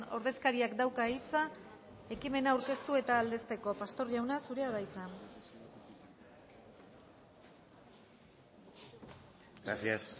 ordezkariak dauka hitza ekimena aurkeztu eta aldezteko pastor jauna zurea da hitza gracias